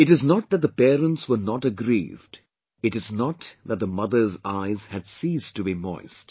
It is not that the parents were not aggrieved, it is not that the mothers' eyes had ceased to be moist